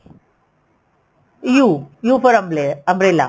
u u for ਅਮਾਲੇਰਾ umbrella